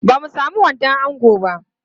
Ba mu sami wandon ango ba.